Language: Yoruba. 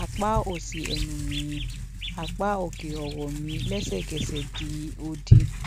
apá òsì ẹnu mi apá òkè ọrọ mi lẹsẹkẹsẹ di òdì